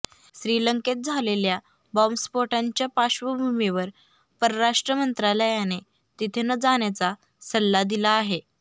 श्रीलंकेत झालेल्या बॉम्बस्फोटांच्या पार्श्वभूमीवर परराष्ट्र मंत्रालयाने तिथे न जाण्याचा सल्ला दिला आहे